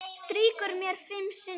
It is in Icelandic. Strýkur mér fimm sinnum.